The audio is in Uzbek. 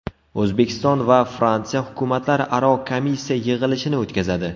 O‘zbekiston va Fransiya hukumatlararo komissiya yig‘ilishini o‘tkazadi.